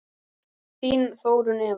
Þín Þórunn Eva.